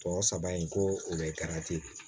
Tɔ saba in ko o bɛ